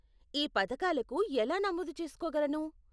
ఈ పథకాలకు ఎలా నమోదు చేస్కోగలను?